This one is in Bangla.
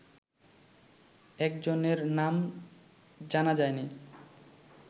একজনের নাম জানা যায়নি